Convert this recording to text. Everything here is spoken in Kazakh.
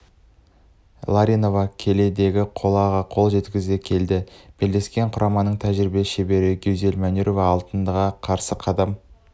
ларионова келіде қолаға қол жеткізсе келіде белдескен құраманың тәжірибелі шебері гюзель манюрова алтынға қарыс қадам